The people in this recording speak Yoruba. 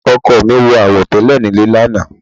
Ọkọ mi wọ àwo tẹ́lẹ̀ nílé lánàá.